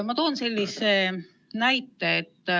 Ma toon sellise näite.